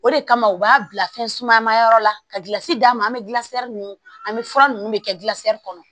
O de kama u b'a bila fɛn suma ma yɔrɔ la ka gilansi d'a ma an bɛ gilansiri nunnu an bɛ fura ninnu de kɛ gilasi kɔnɔ